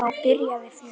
Og þá byrjaði fjörið.